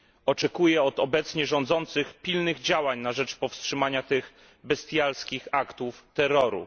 Oczekuję od obecnie rządzących pilnych działań na rzecz powstrzymania tych bestialskich aktów terroru.